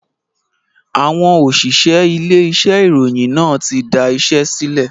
Àwọn òṣìṣẹ́ ilé iṣẹ́ ìròyìn náà tí da iṣẹ́ sílẹ̀